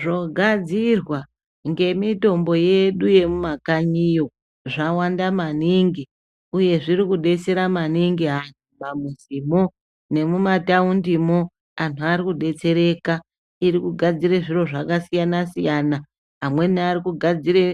Zvogadzirwa ngemitombo yedu yemumakakanyiyo zvawanda maningi uye zvirikudetsera maningi antu mumamizimwo nemumataundimo, anhu arikudetsereka. Irikugadzire zviro zvakasiyana-siyana, amweni arikugadzire